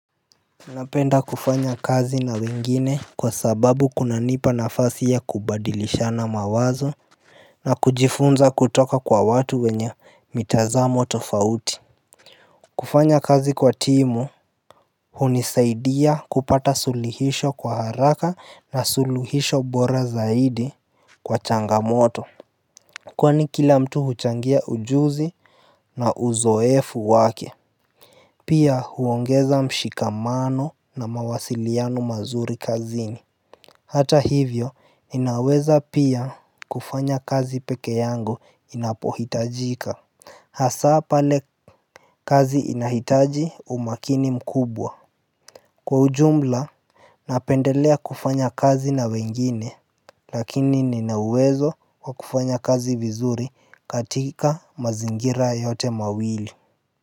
Napenda kufanya kazi na wengine kwa sababu kunanipa nafasi ya kubadilisha na mawazo na kujifunza kutoka kwa watu wenye mitazamo tofauti kufanya kazi kwa timu hunisaidia kupata sulihisho kwa haraka na suluhisho bora zaidi kwa changamoto Kwani kila mtu huchangia ujuzi na uzoefu wake Pia huongeza mshikamano na mawasiliano mazuri kazini Hata hivyo, inaweza pia kufanya kazi peke yangu inapohitajika Hasaa pale kazi inahitaji umakini mkubwa Kwa ujumla, napendelea kufanya kazi na wengine Lakini ninawezo kwa kufanya kazi vizuri katika mazingira yote mawili.